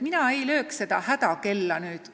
Mina seda hädakella ei lööks.